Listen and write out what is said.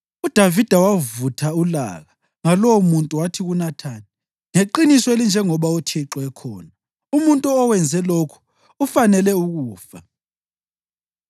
UDavida wavutha ulaka ngalowomuntu wathi kuNathani, “Ngeqiniso elinjengoba uThixo ekhona, umuntu owenze lokhu ufanele ukufa!